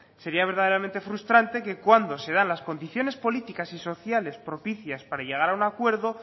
sería verdaderamente frustrante que cuando se dan las condiciones políticas y sociales propicias para llegar a un acuerdo